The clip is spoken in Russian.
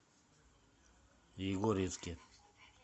егорьевске